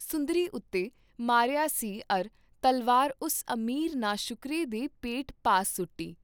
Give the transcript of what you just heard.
ਸੁੰਦਰੀ ਉਤੇ ਮਾਰਿਆ ਸੀ ਅਰ ਤਲਵਾਰ ਉਸ ਅਮੀਰ ਨਾਸ਼ੁਕਰੇ ਦੇ ਪੇਟ ਪਾਸ ਸੁਟੀ,